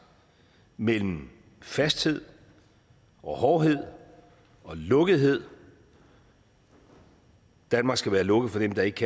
mellem fasthed og hårdhed og lukkethed danmark skal være lukket for dem der ikke